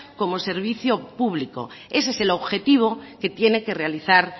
como servicio público ese es el objetivo que tiene que realizar